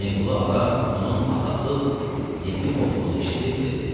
Hüseynqulu ağa onun atasız, yetim olduğunu eşidib dedi: